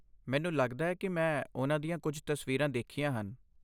ਮੈਨੂੰ ਲੱਗਦਾ ਹੈ ਕਿ ਮੈਂ ਉਨ੍ਹਾਂ ਦੀਆਂ ਕੁਝ ਤਸਵੀਰਾਂ ਦੇਖੀਆਂ ਹਨ।